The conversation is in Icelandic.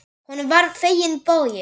Honum var fenginn bogi.